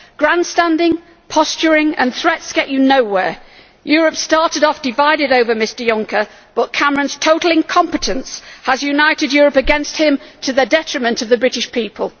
grandstanding, posturing and threats get you nowhere. Europe started off divided over Mr Juncker, but Cameron's total incompetence has united Europe against him to the detriment of the British people.